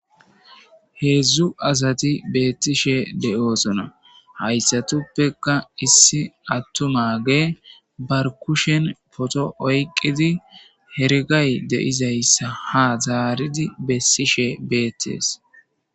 heedzdzu asati beettishe de7osona hayssatuppeka issi attumage barkushen poto oyqqidi hergay deizayssa ha zaaridi bessishe beettees